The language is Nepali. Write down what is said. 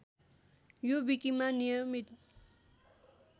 यो विकिमा नियमित